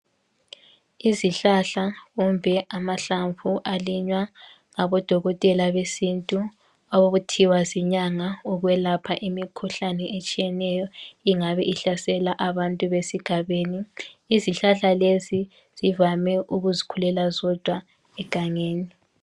Izihlahla kumbe amahlamvu alinywa ngabodokotela besintu okuthiwa zinyanga ukwelapha imikhuhlane etshiyeneyo ingabe ihlasela abantu besigabeni, izihlahla lezi zivame ukuzikhulela zodwa egangeni.